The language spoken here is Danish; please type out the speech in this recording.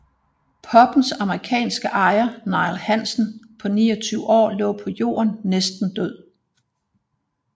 Pubbens amerikanske ejer Neil Hansen på 29 år lå på jorden næsten død